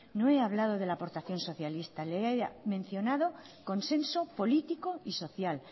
no he hablado de la aportación socialista le he mencionado consenso político y social